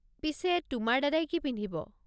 পিছে তোমাৰ দাদাই কি পিন্ধিব?